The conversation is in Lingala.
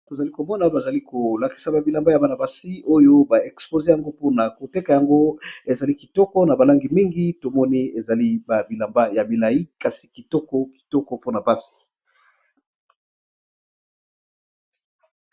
Tozali komona bazali ko lakisa ba bilamba ya bana basi oyo ba expose yango mpona koteka yango, ezali kitoko na ba langi mingi tomoni ezali ba bilamba ya bilai kasi kitoko kitoko mpona pasi.